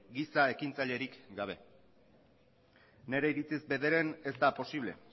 giza ekintzailerik gabe nire iritziz bederen ez da posible